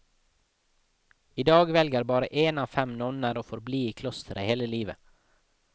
I dag velger bare én av fem nonner å forbli i klosteret hele livet.